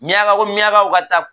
Miyanka ko miyankaw ka taa